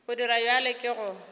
go dira bjalo ke go